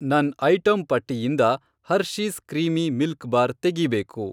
ನನ್ ಐಟಂ ಪಟ್ಟಿಯಿಂದ Hershey's creamy milk bar ತೆಗೀಬೇಕು.